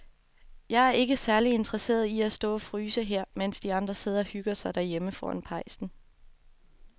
Jeg er ikke særlig interesseret i at stå og fryse her, mens de andre sidder og hygger sig derhjemme foran pejsen.